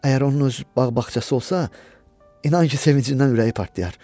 Əgər onun öz bağ-bağçası olsa, inan ki sevincindən ürəyi partlayar.